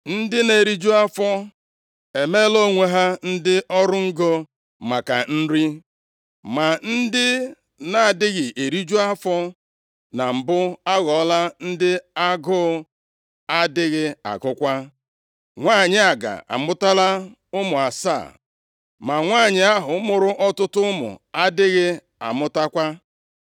Ndị na-eriju afọ e meela onwe ha ndị ọrụ ngo maka nri, ma ndị na-adịghị eriju afọ na mbụ aghọọla ndị agụụ adịghị agụkwa. Nwanyị aga amụtala ụmụ asaa ma nwanyị ahụ mụrụ ọtụtụ ụmụ adịghị amụtakwa.